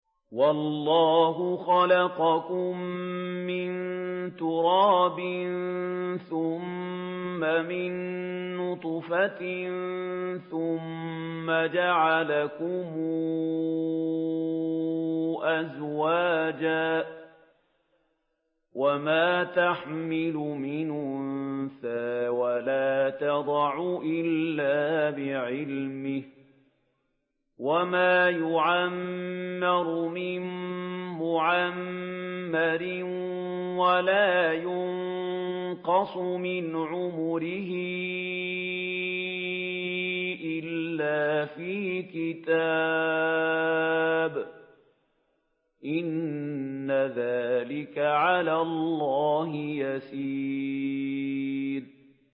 وَاللَّهُ خَلَقَكُم مِّن تُرَابٍ ثُمَّ مِن نُّطْفَةٍ ثُمَّ جَعَلَكُمْ أَزْوَاجًا ۚ وَمَا تَحْمِلُ مِنْ أُنثَىٰ وَلَا تَضَعُ إِلَّا بِعِلْمِهِ ۚ وَمَا يُعَمَّرُ مِن مُّعَمَّرٍ وَلَا يُنقَصُ مِنْ عُمُرِهِ إِلَّا فِي كِتَابٍ ۚ إِنَّ ذَٰلِكَ عَلَى اللَّهِ يَسِيرٌ